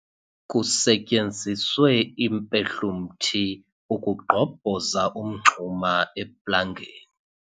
Kusetyenziswe impehlumthi ukugqobhoza umngxuma eplangeni.